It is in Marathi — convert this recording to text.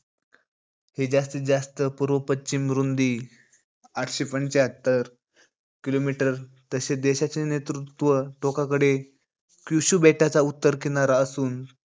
हे जास्तीत जास्त पूर्व-पश्चिम रुंदी आठशे पंच्यात्तर kilometer. तशे देशाचे नेतृत्व टोकाकडे क्युशू बेटाचा उत्तर किनारा असून,